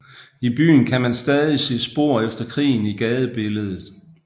I byen kan man stadig se spor efter krigen i gadebilledet